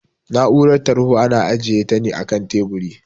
Na'urar tarho ana ajiyeta ne akan teburi